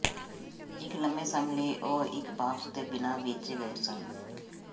ਇੱਕ ਲੰਮੇ ਸਮ ਲਈ ਉਹ ਇੱਕ ਬਾਕਸ ਦੇ ਬਿਨਾਂ ਵੇਚੇ ਗਏ ਸਨ